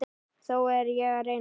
Þó er ég að reyna!